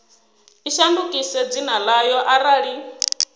i shandukise dzina ḽayo arali